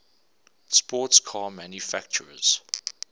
sports car manufacturers